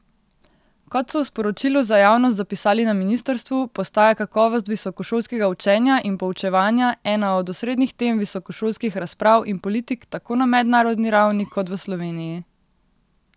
Kot so v sporočilu za javnost zapisali na ministrstvu, postaja kakovost visokošolskega učenja in poučevanja ena od osrednjih tem visokošolskih razprav in politik tako na mednarodni ravni kot v Sloveniji.